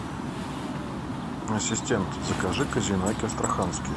ассистент закажи козинаки астраханские